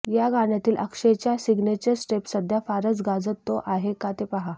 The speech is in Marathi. या गाण्यातील अक्षयचा सिग्नेचर स्टेप सध्या फारंच गाजतो आहे का ते पाहा